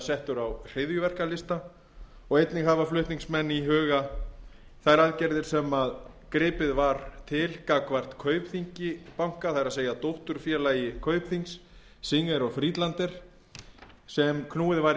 settur á hryðjuverkalista og einnig hafa flutningsmenn í huga þær aðgerðir sem gripið var til gagnvart kaupþingi banka það er dótturfélagi kaupþings singer og friedlander sem knúið var